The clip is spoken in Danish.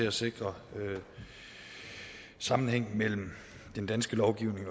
at sikre sammenhæng mellem den danske lovgivning